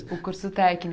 O curso técnico?